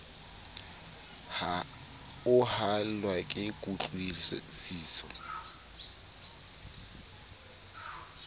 o haellwa ke kutlwi siso